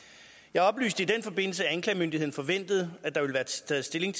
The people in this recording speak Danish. jeg oplyste i den forbindelse at anklagemyndigheden forventede at der ville være taget stilling